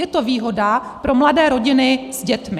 Je to výhoda pro mladé rodiny s dětmi.